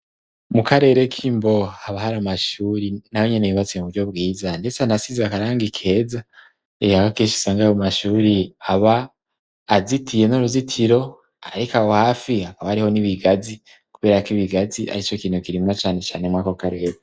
Mu karere k'imbo haba hari amashuri na bo nyene bibatsye mu buryo bwiza, ndetse anasize akaranga ikeza ehagakesha isangaye mu mashuri aba azitiye n'uruzitiro, ariko awo hafi hakaba ariho n'ibigazi, kubera ko ibigazi ari co kintu kirimwa canecane mwako kareba.